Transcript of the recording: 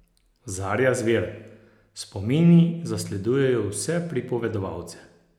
Zarja Zver: "Spomini zasledujejo vse pripovedovalce.